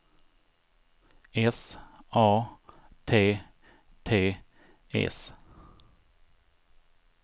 S A T T S